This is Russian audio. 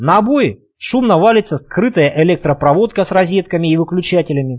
на бой шумного валится скрытая электропроводка с розетками и выключателями